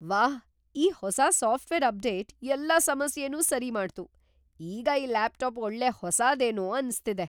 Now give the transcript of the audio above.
ವಾಹ್, ಈ ಹೊಸ ಸಾಫ್ಟ್ವೇರ್ ಅಪ್ಡೇಟ್ ಎಲ್ಲಾ ಸಮಸ್ಯೆನೂ ಸರಿ ಮಾಡ್ತು. ಈಗ್ ಈ ಲ್ಯಾಪ್ಟಾಪ್ ಒಳ್ಳೆ ಹೊಸಾದೇನೋ ಅನ್ಸ್ತಿದೆ!